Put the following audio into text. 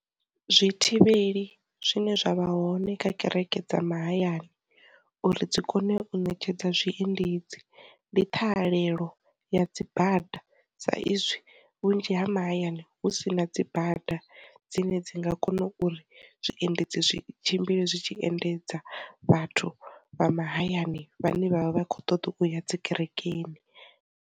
Zwi thivheli zwine zwa vha hone kha kereke dza mahayani uri dzi kone u ṋetshedza zwiendedzi, ndi ṱhahalelo ya dzi bada sa izwi vhunzhi ha mahayani hu si na dzi bada dzine dzi nga kona uri zwiendedzi zwi tshimbile zwi tshi endedza vhathu vha mahayani vhane vhavha vha khou ṱoḓa u ya dzi kerekeni.